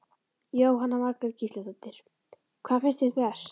Jóhanna Margrét Gísladóttir: Hvað finnst þér best?